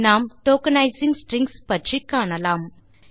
நாம் tokenizing strings பற்றி காணலாம்